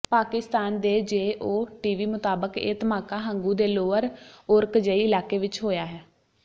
ਪਾਕਿਸਤਾਨ ਦੇ Geo TV ਮੁਤਾਬਕ ਇਹ ਧਮਾਕਾ ਹੰਗੂ ਦੇ ਲੋਅਰ ਓਰਕਜ਼ਈ ਇਲਾਕੇ ਵਿੱਚ ਹੋਇਆ ਹੈ